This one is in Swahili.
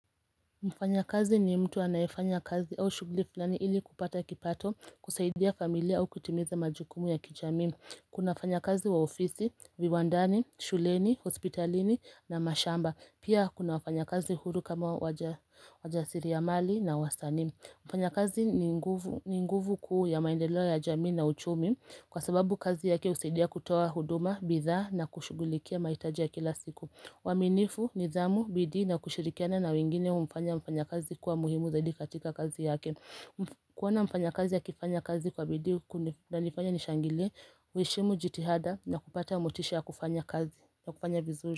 Mfanya kazi ni mtu anayefanya kazi au shuguli fulani ili kupata kipato, kusaidia familia au kutimiza majukumu ya kijamii. Kuna wafanya kazi wa ofisi, viwandani, shuleni, hospitalini na mashamba. Pia kuna wafanya kazi huru kama wajasiria mali na wasanii. Mfanya kazi ni nguvu kuu ya maendeleo ya jamii na uchumi kwa sababu kazi yake usaidia kutawa huduma, bidhaa na kushugulikia mahitaji ya kila siku. Waamifu, nizamu, bidii na kushirikiana na wengine humfanya mfanya kazi kuwa muhimu zaidi katika kazi yake kuona mfanya kazi akifanya kazi kwa bidii kunanifanya nishangile Ueshimu jitihada na kupata motisha ya kufanya kazi ya kufanya vizuri.